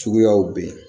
Suguyaw bɛ yen